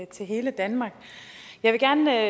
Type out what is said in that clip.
til hele danmark jeg vil gerne